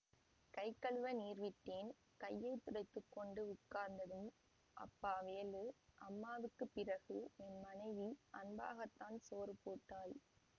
கைகழுவ நீர் விட்டேன் கையை துடைத்து கொண்டு உட்கார்ந்ததும் அப்பா வேலு அம்மாவுக்கு பிறகு என் மனைவி அன்பாகத்தான் சோறு போட்டாள்